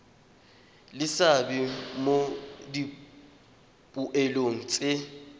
le seabe mo dipoelong tse